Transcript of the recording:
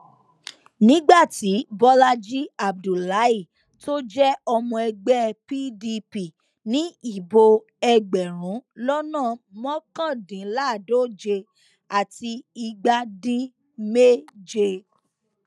nígbà tí bọlàjì abdullahi tó jẹ ọmọ ẹgbẹ pdp ní ìbò ẹgbẹrún lọnà mọkàdínláàádóje àti igba dín méje